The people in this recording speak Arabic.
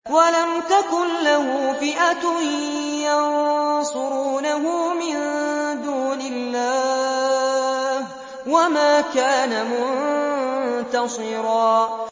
وَلَمْ تَكُن لَّهُ فِئَةٌ يَنصُرُونَهُ مِن دُونِ اللَّهِ وَمَا كَانَ مُنتَصِرًا